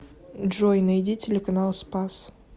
джой найди телеканал спас